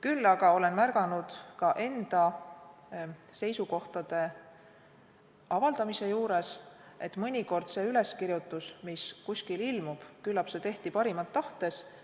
Küll aga olen märganud ka enda seisukohtade avaldamise puhul, et mõnikord see üleskirjutus, mis kuskil ilmub, tehti küllap parimat tahtes, aga